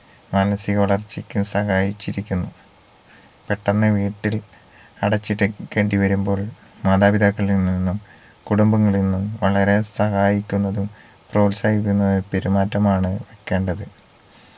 മാനസിക വളർച്ചയ്ക്കും സഹായിച്ചിരിക്കുന്നു പെട്ടെന്ന് വീട്ടിൽ അടച്ചിട്ടിരിക്കേണ്ടി വരുമ്പോൾ മാതാപിതാക്കളിൽ നിന്നും കുടുംബങ്ങളിൽ നിന്നും അവരെ സഹായിക്കേണ്ടതും പ്രോത്സാഹിപ്പിക്കുന്നതും പെരുമാറ്റമാണ് ആകേണ്ടത്